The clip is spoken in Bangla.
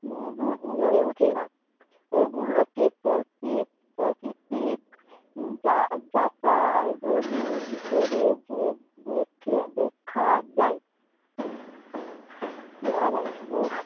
নেবুর অহ হয়ে ওঠেনা ওগুলোকে প্রতি প্রকৃতির যা যাতা ধোনি হিসেবে দেখে দেখা যায় দেখা যায়